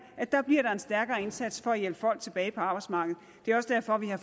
at der bliver en stærkere indsats for at hjælpe folk tilbage på arbejdsmarkedet det er også derfor vi har